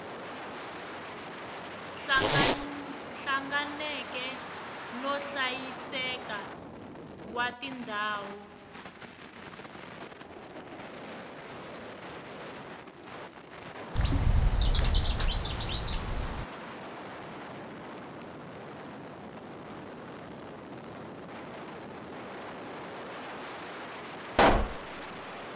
hlanganeke no hlayiseka wa tindhawu